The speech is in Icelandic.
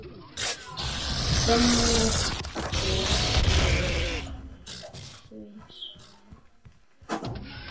Finnur þú fyrir því sama?